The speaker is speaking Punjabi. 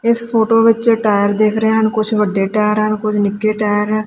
ਇਸ ਫ਼ੋਟੋ ਵਿੱਚ ਟਾਇਰ ਦਿਖ ਰਹੇ ਹਨ ਕੁਛ ਵੱਡੇ ਟਾਇਰ ਹਨ ਕੁਝ ਨਿੱਕੇ ਟਾਇਰ ਏ ਐ।